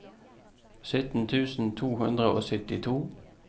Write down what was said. sytten tusen to hundre og syttito